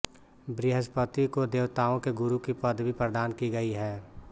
बृहस्पति को देवताओं के गुरु की पदवी प्रदान की गई है